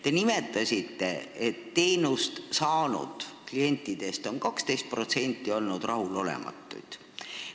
Te nimetasite, et teenust saanud klientidest on 12% olnud rahulolematud.